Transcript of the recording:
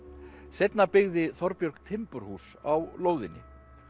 seinna byggði Þorbjörg timburhús á lóðinni